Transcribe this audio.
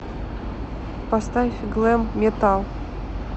поставь глэм метал